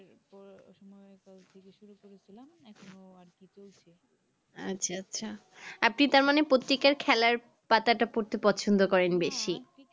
আচ্ছা আচ্ছা আপনি তার মানে পত্রিকার খেলার পাতাটা পড়তে পছন্দ করেন বেশি